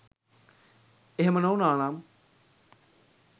එහෙම නොවුනානම්